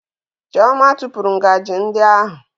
Chioma tụpụrụ ngaji ndị ahụ